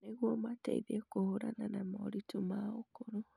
nĩguo mateithie kũhũrana na moritũ ma ũkũrũ.